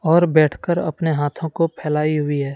और बैठकर अपने हाथों को पहलाई हुई है।